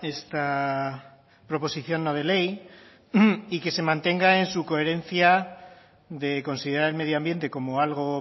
esta proposición no de ley y que se mantenga en su coherencia de considerar el medioambiente como algo